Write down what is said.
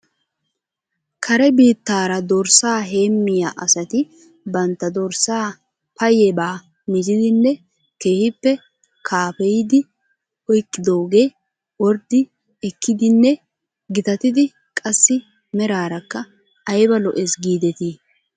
Kare biittaara dorssaa heemmiyaa asati bantta dorssaa payyebaa mizidinne keehippe kaafeyidi oyqqidoogee orddi ekkidinne gitatidi qassi meraarakka aybba lo'es giidetii?